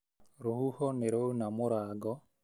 Rũhuho nĩ rwa una mũrango